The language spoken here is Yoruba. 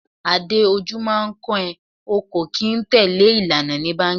Adé, ojú máa ń kán ẹ, o kò kín tẹ̀lé ìlà ni báńkì.